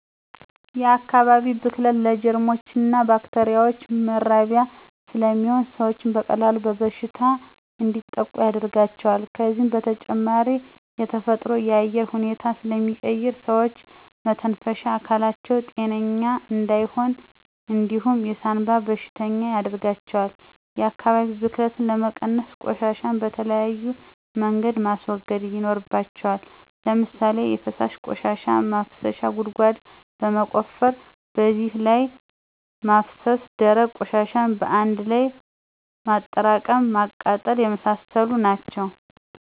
የአካባቢ ብክለት ለጀርሞችና ባክቴሪያዎች መራቢያ ስለሚሆን ሰዎች በቀላሉ በበሽታ እንዲጠቁ ያደርጋቸዋል ከዚህ በተጨማሪ የተፈጥሮን የአየር ሁኔታ ስለሚቀይር ሰዎች የመተንፈሻ አካላቸው ጤነኛ እንዳይሆን እንዲሁም የሳንባ በሽተኛ ያርጋቸዋል። የአካባቢ ብክለትን ለመቀነስ፦ ቆሻሻን በተለያዩ መንገድ ማስወገድ ይኖርባቸዋል። ለምሳሌ የፈሳሽ ቆሻሻ ማፋሰሻ ጉድጓድ በመቆፈር በዚያ ላይ ማፋሰስ፣ ደረቅ ቆሻሻን በአንድ ላይ በማጠራቀም ማቃጠል የመሳሰሉት ናቸው